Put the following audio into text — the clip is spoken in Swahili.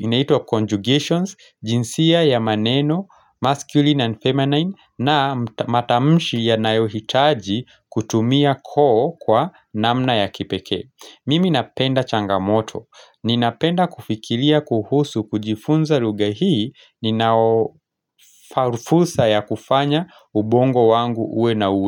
inaitwa conjugations jinsia ya maneno Masculine and feminine na matamushi yanayohitaji kutumia koo kwa namna ya kipeke Mimi napenda changamoto Ninapenda kufikilia kuhusu kujifunza lugha hii ninaofarufursa ya kufanya ubongo wangu uwe na uwe.